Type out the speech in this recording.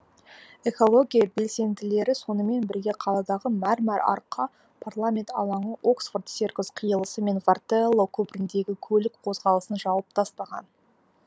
экология белсенділері сонымен бірге қаладағы мәрмәр арка парламент алаңы оксфорд серкус қиылысы мен ватерлоо көпіріндегі көлік қозғалысын жауып тастаған